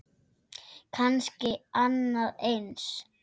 Kannski annað eins.